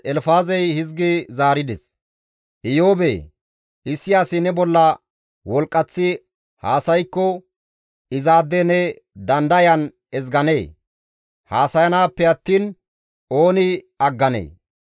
«Iyoobee! Issi asi ne bolla wolqqaththi haasaykko izaade ne dandayan ezganee? Haasayanaappe attiin ooni agganee?